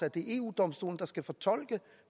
at det er eu domstolen der skal fortolke